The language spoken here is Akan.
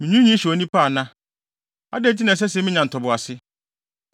“Minwiinwii hyɛ onipa ana? Adɛn nti na ɛsɛ sɛ minya ntoboase?